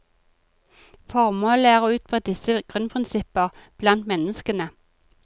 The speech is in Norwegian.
Formålet er å utbre disse grunnprinsipper blant menneskene.